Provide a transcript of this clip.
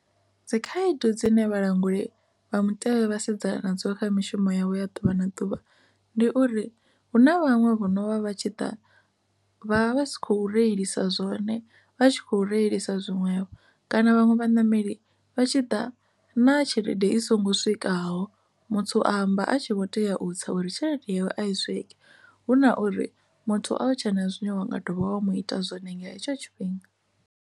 Dzikhaedu dzine vhalanguli vha mutevhe vha sedzana nadzo kha mishumo yavho ya ḓuvha na ḓuvha ndi uri hu na vhaṅwe vho novha vha vha tshi ḓa vha vha vha si khou reilisa zwone vha tshi khou reilisa zwiṅwevho kana vhaṅwe vha ṋameli vha tshi ḓa na tshelede i songo swikaho. Muthu a amba a tshi vho tea u tsa uri tshelede yawe a i swike huna uri muthu awe tsha na zwine wa nga dovha wa mu ita zwone nga hetsho tshifhinga.